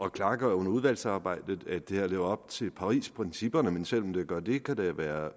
at klargøre under udvalgsarbejdet at det her lever op til parisprincipperne men selv om det gør det kan der være